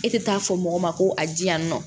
E tɛ taa fɔ mɔgɔ ma ko a di yan nɔ